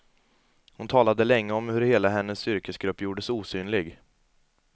Hon talade länge om hur hela hennes yrkesgrupp gjordes osynlig.